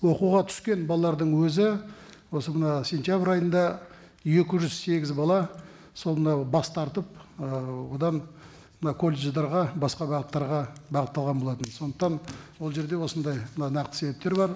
оқуға түскен балалардың өзі осы мына сентябрь айында екі жүз сегіз бала сол мынау бас тартып ы одан мына колледждерге басқа бағыттарға бағытталған болатын сондықтан ол жерде осындай нақты себептер бар